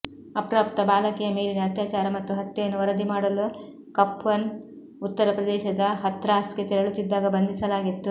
ಅಪ್ರಾಪ್ತ ಬಾಲಕಿಯ ಮೇಲಿನ ಅತ್ಯಾಚಾರ ಮತ್ತು ಹತ್ಯೆಯನ್ನು ವರದಿ ಮಾಡಲು ಕಪ್ಪನ್ ಉತ್ತರ ಪ್ರದೇಶದ ಹಥ್ರಾಸ್ಗೆ ತೆರಳುತ್ತಿದ್ದಾಗ ಬಂಧಿಸಲಾಗಿತ್ತು